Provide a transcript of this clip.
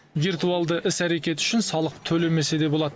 виртуалды іс әрекет үшін салық төлемесе де болады